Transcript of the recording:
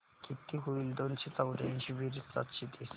किती होईल दोनशे चौर्याऐंशी बेरीज सातशे तीस